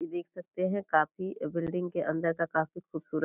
इ देख सकते हैं काफ़ी बिल्डिंग के अंदर का काफ़ी खूबसूरत --